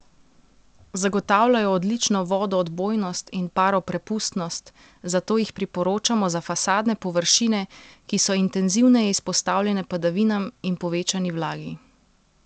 Zagotavljajo odlično vodoodbojnost in paroprepustnost, zato jih priporočamo za fasadne površine, ki so intenzivneje izpostavljene padavinam in povečani vlagi.